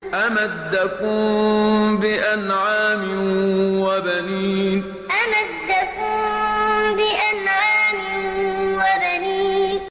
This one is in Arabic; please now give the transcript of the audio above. أَمَدَّكُم بِأَنْعَامٍ وَبَنِينَ أَمَدَّكُم بِأَنْعَامٍ وَبَنِينَ